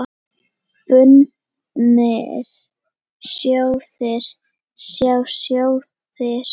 Bundnir sjóðir, sjá sjóðir